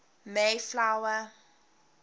mayflower